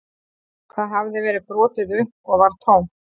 Það hafði verið brotið upp og var tómt